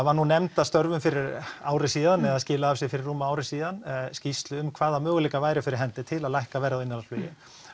var nú nefnd að störfum fyrir ári síðan eða skilaði af sér fyrir rúmu ári síðan skýrslu um hvaða möguleikar væru fyrir hendi til að lækka verð á innanlandsflugi